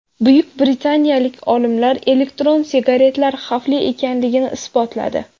Buyuk britaniyalik olimlar elektron sigaretalar xavfli ekanligini isbotladi.